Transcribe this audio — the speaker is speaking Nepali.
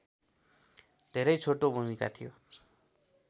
धेरै छोटो भूमिका थियो